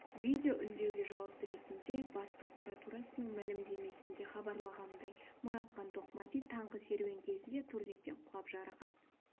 видео үндеуге жауап ретінде бас прокуратурасының мәлімдемесінде хабарланғандай мұратхан тоқмәди таңғы серуен кезінде турниктен құлап жарақат